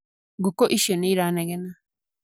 Ngũkũ icio nĩ iranegena.